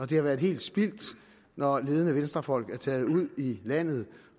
det har været helt spildt når ledende venstrefolk er taget ud i landet